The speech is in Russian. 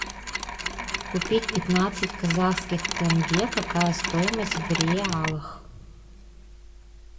купить пятнадцать казахских тенге какая стоимость в реалах